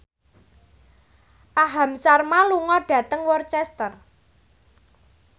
Aham Sharma lunga dhateng Worcester